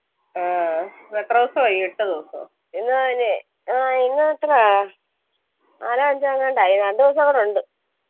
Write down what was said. ഇന്ന് മുതല് ആ ഇന്ന് തൊട്ടുവാ നാലോ അഞ്ചോ എങ്ങാണ്ടായി രണ്ടോസം കൂടെ ഉണ്ട്